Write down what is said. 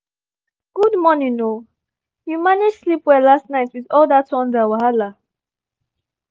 good morning! you manage sleep well last night with all that thunder wahala?